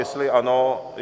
Jestli ano...